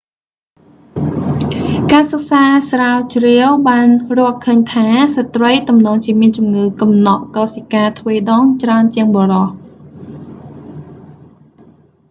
ការសិក្សាស្រាវជ្រាវបានរកឃើញថា ស្ត្រីទំនងជាមានជំងឺកំណកកោសិកាទ្វេដងច្រើនជាងបុរស